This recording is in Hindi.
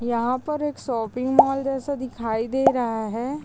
यहाँ पर एक शोपिंग मॉल जैसा दिखाई दे रहा है।